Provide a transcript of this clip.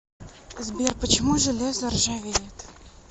сбер почему железо ржавеет